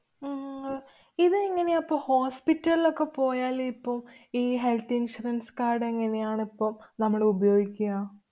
ഉം അഹ് ഇതെങ്ങനെയാ പ്പ hospital ലൊക്കെ പോയാല് ഇപ്പൊ ഈ health insurance card എങ്ങനെയാണ് ഇപ്പൊ നമ്മള് ഉപയോഗിക്ക്യ?